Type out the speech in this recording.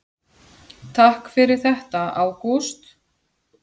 Takk fyrir þetta Ágúst.